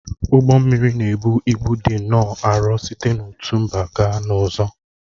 Ụgbọ mmiri na-ebu ịbụ dị nnọọ arọ site n'otu mba gaa n'ọzọ